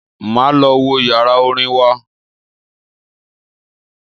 Máa lọ wo yàrá orin wa.